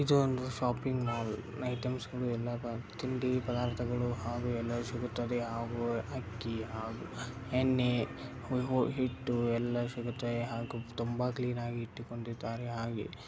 ಇದು ಒಂದು shopping mall items ಗಳು ಎಲ್ಲಾ ತಿಂಡ್ಡಿ ಪದಾರ್ತಗಳು ಹಾಗೂ ಎಲ್ಲವೂ ಸಿಗುತ್ತದೆ ಹಾಗೂ ಅಕ್ಕಿ ಹಾಗೂ ಹೆಣ್ಣೇ ಹಿಟ್ಟು ಎಲ್ಲವೂ ಸಿಗುತ್ತದೆ ಹಾಗೂ ತುಂಬಾ ಕ್ಲಿನಾ ಗಿ ಇಟ್ಟು ಕೊಂಡಿದ್ದಾರೆ. ಹಾಗೆ --